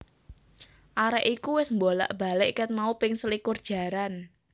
Arek iku wes mbolak mbalik ket mau ping selikur jaran